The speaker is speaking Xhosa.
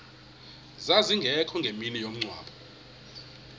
zazingekho ngemini yomngcwabo